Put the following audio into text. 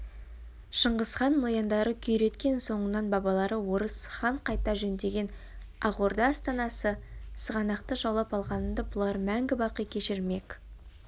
шыңғысхан нояндары күйреткен соңынан бабалары орыс хан қайта жөндеген ақ орда астанасы сығанақты жаулап алғанымды бұлар мәңгі-бақи кешірмек